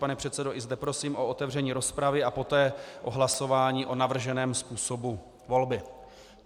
Pane předsedo, i zde prosím o otevření rozpravy a poté o hlasování o navrženém způsobu volby.